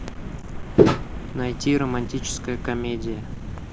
найти романтическая комедия